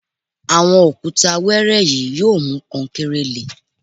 Àwọn òkúta wẹẹrẹ yìí yóò mú kankéré le